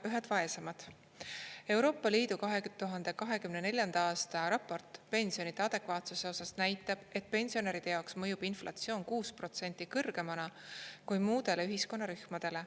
ELi 2024. a raport pensionide adekvaatsuse osas näitab, et pensionäride jaoks mõjub inflatsioon 6% kõrgemana kui muudele ühiskonnarühmadele.